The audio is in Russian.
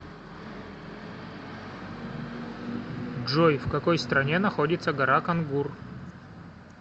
джой в какой стране находится гора конгур